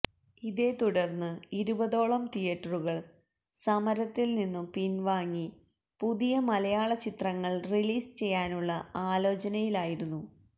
ഇതേത്തുടര്ന്ന് ഇരുപതോളം തിയറ്ററുകള് സമരത്തില് നിന്നും പിന്വാങ്ങി പുതിയ മലയാള ചിത്രങ്ങള് റിലീസ് ചെയ്യാനുള്ള ആലോചനയിലായിരുന്നു